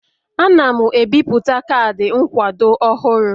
Ana m ebipụta kaadị nkwado ọhụrụ